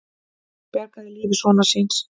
Bjargaði lífi sonar síns